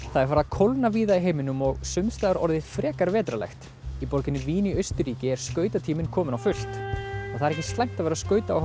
það er farið að kólna víða í heiminum og sums staðar orðið frekar vetrarlegt í borginni Vín í Austurríki er kominn á fullt og það er ekki slæmt að vera